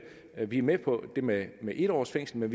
at vi er med på det med med en års fængsel men